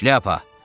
Şlyapa!